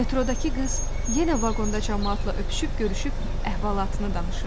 Metrodakı qız yenə vaqonda camaatla öpüşüb görüşüb əhvalatını danışırdı.